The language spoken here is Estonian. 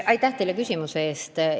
Aitäh selle küsimuse eest!